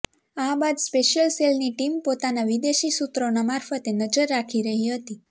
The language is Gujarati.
આ બાદ સ્પેશિયલ સેલની ટીમ પોતાના વિદેશી સૂત્રોના માર્ફતે નજર રાખી રહી હતી